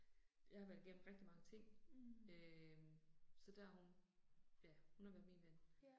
Jeg har været igennem rigtig mange ting. Øh så der er hun. Ja, hun har været min ven